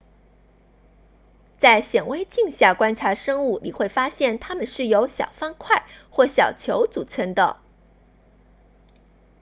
在显微镜下观察生物你会发现它们是由小方块或小球组成的